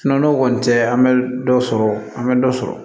n'o kɔni tɛ an bɛ dɔ sɔrɔ an bɛ dɔ sɔrɔ